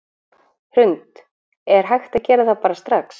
Hrund: Er hægt að gera það bara strax?